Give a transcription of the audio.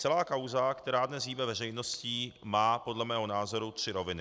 Celá kauza, která dnes hýbe veřejností, má podle mého názoru tři roviny.